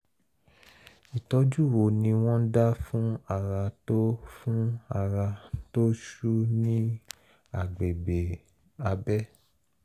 ìtọ́jú wo ni wọ́n dá fún ara tó fún ara tó ṣú ní agbègbè abẹ́?